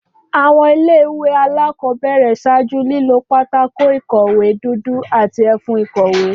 Áwọn ile-iwe alakọbẹrẹ ṣaaju lilo pátákó ìkọ̀wé dúdú ati efun ìkọ̀wé.